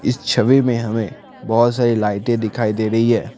इस छवि में हमें बहुत सारी लाइटें दिखाई दे रही है ।